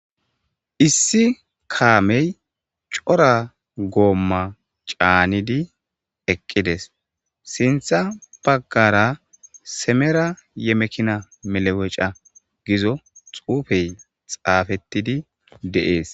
Issi kaamey cora goomma caanidi eqqides sintha baggara semera yemekina meleweca gizo xuufey xaafettidi de'ees.